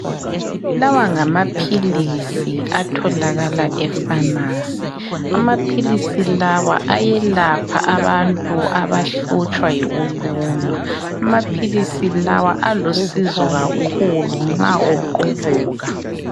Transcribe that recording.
Lawa ngamaphilisi atholakala efamasi. Amaphilisi lawa ayelapha abantu abahlutshwa yikulunywa. Amaphilisi lawa alusizo kakhulu nxa uqubuka.